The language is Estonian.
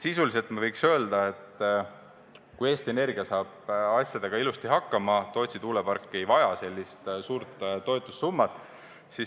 Sisuliselt võiks öelda, et kui Eesti Energia saab asjadega ilusti hakkama, siis Tootsi tuulepark ei vaja sellist suurt toetussummat.